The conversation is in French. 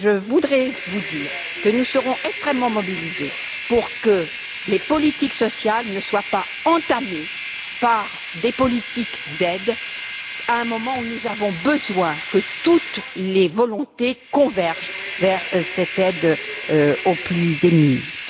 Je voudrais vous dire que nous resterons extrêmement mobilisés pour empêcher que les politiques sociales ne soient entamées par des politiques d'aide, à un moment où nous avons besoin que toutes les volontés convergent vers cette aide aux plus démunis.